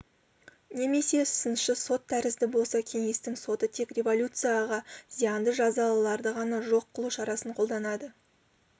немесе сыншы сот тәрізді болса кеңестің соты тек революцияға зиянды жазалыларды ғана жоқ қылу шарасын қолданады